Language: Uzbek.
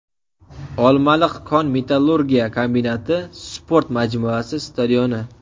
Olmaliq kon-metallurgiya kombinati sport majmuasi stadioni.